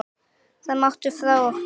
Það máttu hafa frá okkur.